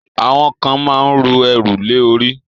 àwọn kan ma ń ru ẹrù lé orí.